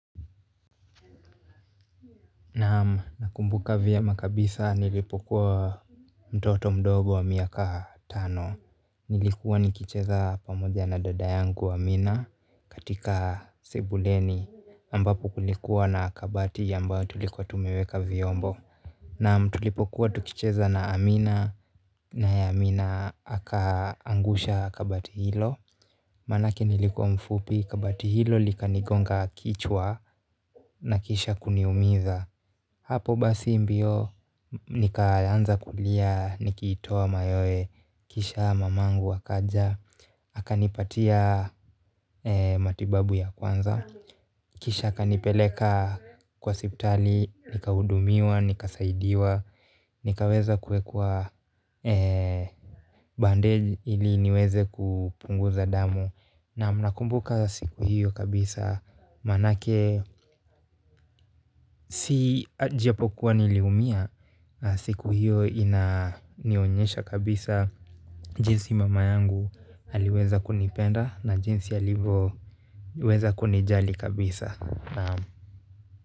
Naam, nakumbuka vyema kabisa nilipokuwa mtoto mdogo wa miaka tano nilikuwa nikicheza pamoja na dada yangu Amina katika sebuleni ambapo kulikuwa na kabati ambayo tulikuwa tumeweka vyombo naam tulipokuwa tukicheza na Amina naye Amina akaangusha kabati hilo maanake nilikuwa mfupi, kabati hilo lilinigonga kichwa na kisha kuniumiza hapo basi mbio nikaanza kulia nikitoa mayowe kisha mamangu akaja akanipatia matibabu ya kwanza kisha akanipeleka kwa hospitali nikahudumiwa, nikasaidiwa nikaweza kuwekea bandeji ili niweze kupunguza damu. Naam, nakumbuka siku hiyo kabisa maanake, ijapokuwa niliumia siku hiyo inanionyesha kabisa jinsi mama yangu aliweza kunipenda na jinsi alivyo weza kunijali kabisa.